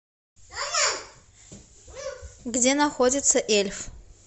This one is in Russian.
где находится эльф